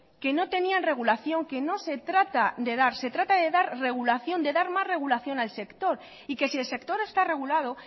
que no tenían regulación que no se trata de dar se trata de dar regulación de dar más regulación al sector y que si el sector está regulado